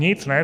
Nic, ne?